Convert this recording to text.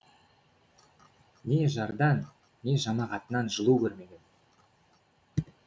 не жардан не жамағатынан жылу көрмеген